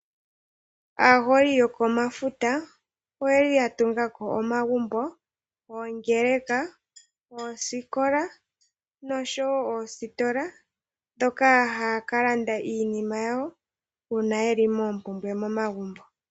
Aaholi yokomafuta oye li ya tungako omagumbo, oongeleka, oosikola nosho woo ositola ndhoka haya ka landa iinima yawo uuna ye li moopumbwe momagumbo.